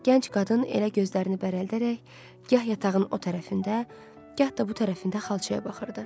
Gənc qadın elə gözlərini bərəldərək gah yatağın o tərəfində, gah da bu tərəfində xalçaya baxırdı.